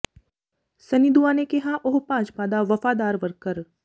ਸੰਨੀ ਦੂਆ ਨੇ ਕਿਹਾ ਉਹ ਭਾਜਪਾ ਦਾ ਵਫ਼ਾਦਾਰ ਵਰਕਰ